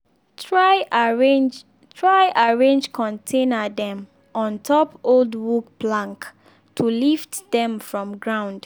try arrange try arrange container dem on top old wood plank to lift dem from ground.